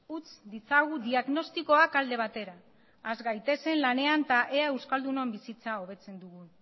utz ditzagun diagnostikoak alde batera has gaitezen lanean eta euskaldunon bizitza hobetzen dugun